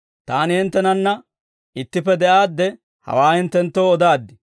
«Taani hinttenanna ittippe de'aadde hawaa hinttenttoo odaaddi;